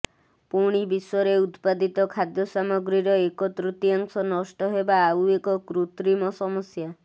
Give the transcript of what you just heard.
ପୁଣି ବିଶ୍ୱରେ ଉତ୍ପାଦିତ ଖାଦ୍ୟ ସାମଗ୍ରୀର ଏକ ତୃତୀୟାଂଶ ନଷ୍ଟ ହେବା ଆଉ ଏକ କୃତ୍ରିମ ସମସ୍ୟା